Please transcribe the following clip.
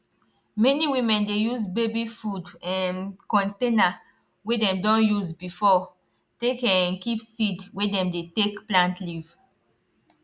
many women dey use baby food um container wey dem don use before take um keep seed wey dem dey take plant leaf